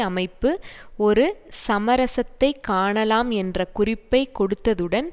அமைப்பு ஒரு சமரசத்தைக் காணலாம் என்ற குறிப்பை கொடுத்ததுடன்